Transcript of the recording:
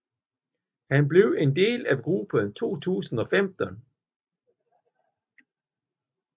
Han blev en del af gruppen i 2015